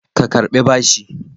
Ka Karɓi bashi!